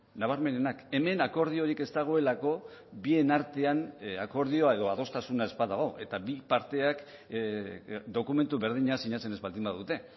nabarmenenak hemen akordiorik ez dagoelako bien artean akordioa edo adostasuna ez badago eta bi parteak dokumentu berdina sinatzen ez baldin badute